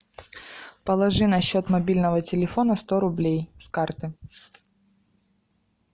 положи на счет мобильного телефона сто рублей с карты